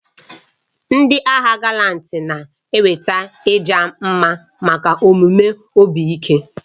Ndị agha Galanti na-enweta ịja mma maka omume obi ike.